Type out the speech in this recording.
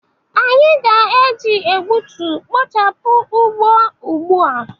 Anyị ga-eji egbutu kpochapụ ugbo ugbu a.